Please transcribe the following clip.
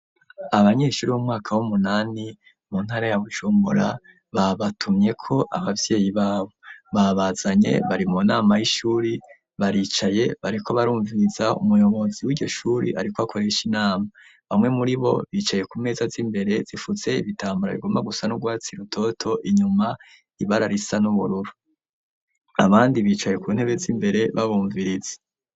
Abanyeshuri b'umwaka wumunani mu ntara ya Bujumbura babatumye ko abavyeyi babo. Babazanye bari mu nama y'ishuri baricaye bariko barumviriza umuyobozi wiryo shuri ariko akoresha inama bamwe muri bo bicaye ku meza z'imbere zifutse ibitambara bigomba gusa n'urwatsi rutoto inyuma ibara risa n'ubururu abandi bicaye ku ntebe z'imbere babumviriza .